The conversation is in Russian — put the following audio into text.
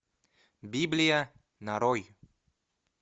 библия нарой